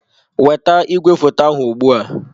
Weta igwefoto ahụ ugbu a!